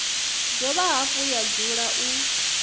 dovha hafhu ya dzula u